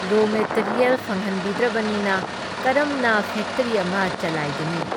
ꯔꯣ ꯃꯦꯇꯤꯔꯤꯌꯦꯜ ꯐꯪꯍꯟꯕꯤꯗ꯭ꯔꯕꯅꯤꯅ ꯀꯔꯝꯅ ꯐꯦꯛꯇ꯭ꯔꯤ ꯑꯃ ꯆꯂꯥꯏꯒꯅꯤ?